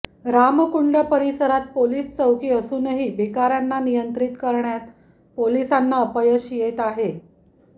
रामकुंड परिसरात पोलिस चौकी असूनही भिकाऱ्यांना नियंत्रित करण्यात पोलिसांना अपयश येत आहे